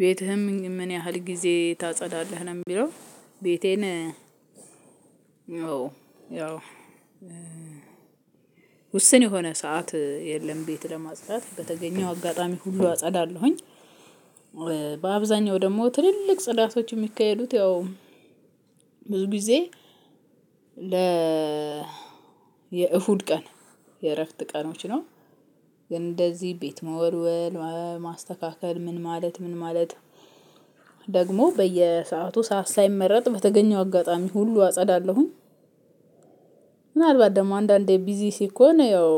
ቤትህን ምን ያህል ጊዜ ታጸዳለህ ነው የሚለው? ቤቴን ያው ውስን የሆነ ሰዓት የለም ቤት ለማጽዳት በተገኘው አጋጣሚ ሁሉ አጸዳለሁኝ። በአብዛኛው ደግሞ ትልልቅ ፅዳቶች የሚካሔዱት ያው ብዙ ጊዜ የዕሁድ ቀን የእረፍት ቀኖች ነው። ግን እንደዚህ ቤት መወልወል ማስተካከል ምን ማለት ምን ማለት? ደግሞ በየሰአቱ ስዓት ሳይመረጥ በተገኘው አጋጣሚ ሁሉ አጸዳለሁኝ። ምናልባት ደግሞ አንዳንዴ ቢዚ ሲኮን ያው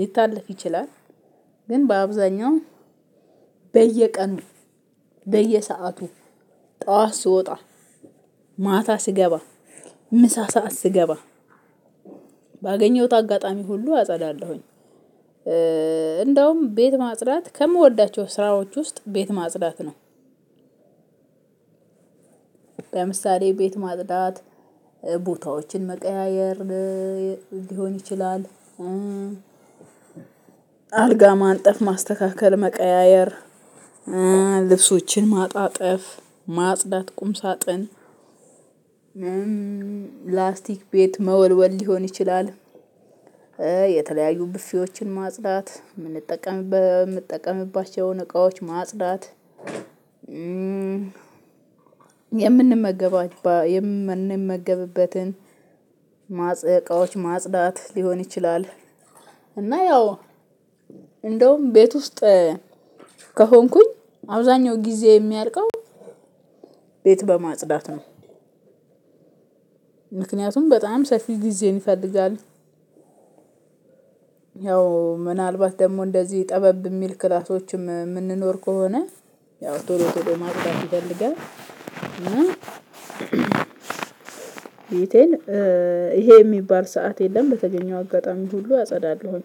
ሊታለፍ ይችላል። ግን በአብዛኛው በየቀኑ በየሰአቱ ጠዋት ስወጣ ማታ ስገባ ምሳ ስዓት ስገባ ባገኘሁት አጋጣሚ ሁሉ አጸዳለሁኝ። እንደውም ቤት ማጽዳት ከምወዳቸው ስራዎች ውስጥ ቤት ማጽዳት ነው። ለምሳሌ ቤት ማጽዳት ቦታዎችን መቀያየር ሊሆን ይችላል። አልጋ ማንጠፍ ማስተካከል መቀያየር ልብሶችን ማጣጠፍ ማጽዳት ቁም ሳጥን። ላስቲክ ቤት መወልወል ሊሆን ይችላል። የተለያዩ ብፌዎችን ማጽዳት እምጠቀምባቸውን እቃዎች ማጽዳት። የምንመገብበትን ማጽዳት ሊሆን ይችላል። እና ያው እንደውም ቤት ውስጥ ከሆንኩኝ አብዛኛው ጊዜ የሚያልቀው ቤት በማጽዳት ነው። ምክንያቱም በጣም ሰፊ ጊዜን ይፈልጋል። ያው ምናልባት ደግሞ እንደዚህ ጠበብ የሚል ክላሶችም የምንኖር ከሆነ ያው ቶሎ ቶሎ ማጽዳት ይፈልጋል እና። ቤቴን ይሄ የሚባል ስዓት የለም በተገኘው አጋጣሚ ሁሉ አፀዳለሁኝ።